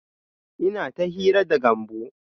Ina ta hira da Gambo